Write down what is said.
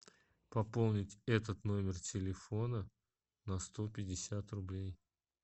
пополнить этот номер телефона на сто пятьдесят рублей